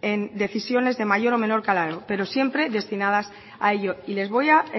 en decisiones de mayor o menor calado pero siempre destinadas a ello y les voy a